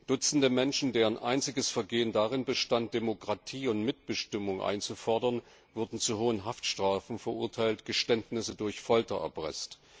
Dutzende Menschen, deren einziges Vergehen darin bestand, Demokratie und Mitbestimmung einzufordern, wurden zu hohen Haftstrafen verurteilt, Geständnisse durch Folter erpresst.